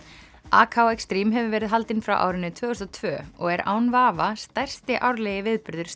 Extreme hefur verið haldin frá árinu tvö þúsund og tvö og er án vafa stærsti árlegi viðburður